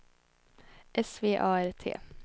S V A R T